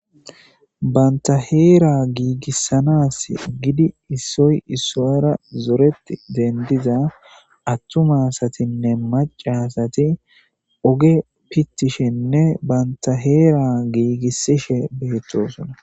banta heera giigissanas gidi issoy issowara zoreti dendiza attuma asatinne macasati oge pittishenne banta heera giigisishe beettosona